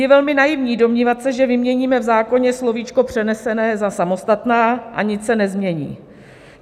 Je velmi naivní domnívat se, že vyměníme v zákoně slovíčko "přenesené" za "samostatná" a nic se nezmění.